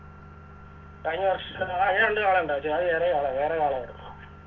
കഴിഞ്ഞ വർഷം ആ ഈ രണ്ട് കാളയുണ്ടാരുന്നു ചെ അത് വേറെ ആളാ വേറെ ആളാരുന്നു